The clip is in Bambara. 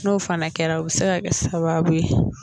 N'o fana kɛra u bɛ se ka kɛ sababu ye